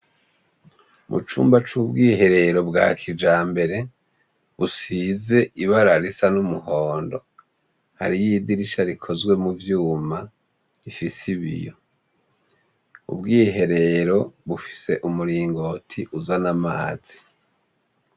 Mu cumba c'ubwiherero bwa kijambere, busize ibara risa n'umuhondo, hariyo idirisha rikozwe mu vyuma, rifise ibiyo. Ubwiherero bufise umuringoti uzana amazi.